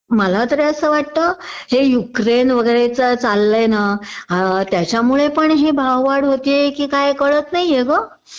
मलातरी असं वाटतं हे युक्रेन वगैरेच चाललंय ना हा त्याच्यामुळे पण हे भाववाढ होतीये कि काय कळत नाहीये ग